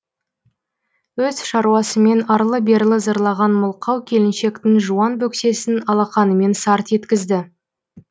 өз шаруасымен арлы берлы зырлаған мылқау келіншектің жуан бөксесін алақанымен сарт еткізді